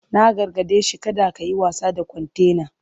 Na gargade shi 'Kada kayi wasa da kwantena!'